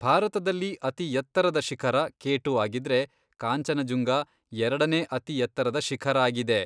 ಭಾರತದಲ್ಲಿ ಅತಿ ಎತ್ತರದ ಶಿಖರ ಕೆ ಟು ಆಗಿದ್ರೆ ಕಾಂಚನಜುಂಗ ಎರಡನೇ ಅತಿ ಎತ್ತರದ ಶಿಖರ ಆಗಿದೆ.